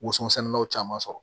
Woson sɛnɛnaw caman sɔrɔ